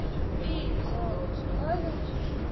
iinkonzo